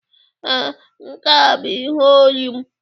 Ee, nke a bụ ihe olu m.